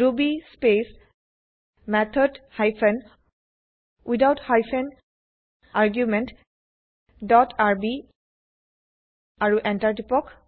Ruby space method hyphen without hyphen argument dot R B আৰু Enter টিপক